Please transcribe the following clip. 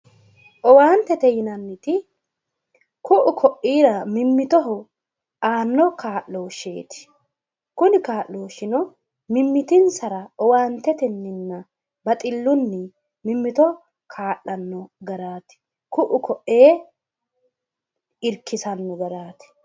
Owaantete yinanniti ku'u koiira mimmittoho aanno kaa'losheeeti kuni kaa'looshino mimmitinsara owaanteteninna baxillunni mimmito kaa'lano garaati ku'u ko'ee Irikkisanno garaati.